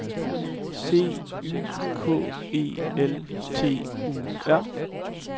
C Y K E L T U R